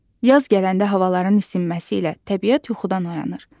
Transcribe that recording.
Yaz gələndə havaların isinməsi ilə təbiət yuxudan oyanır.